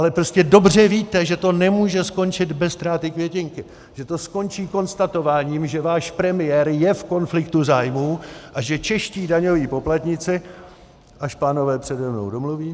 Ale prostě dobře víte, že to nemůže skončit bez ztráty květinky, že to skončí konstatováním, že váš premiér je v konfliktu zájmů a že čeští daňoví poplatníci... až pánové přede mnou domluví...